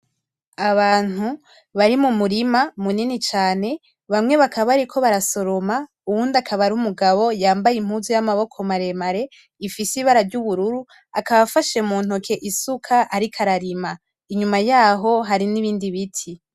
Abantu bari mu murirma munini cane bamwe bakaba bariko barasoroma uwundi akaba ar'umugabo yambaye impuzu y'amaboko maremare ifise ibara ry'ubururu akaba afashe muntoke isuka ariko ararima, inyuma yaho hari n'ibindi biti.